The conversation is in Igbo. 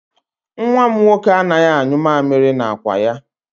Nwa m nwoke anaghị anyụ mamịrị n'akwa ya.